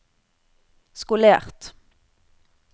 skolert